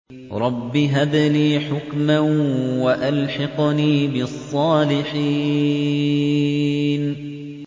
رَبِّ هَبْ لِي حُكْمًا وَأَلْحِقْنِي بِالصَّالِحِينَ